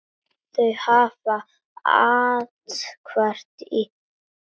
Þau hafa athvarf í risinu.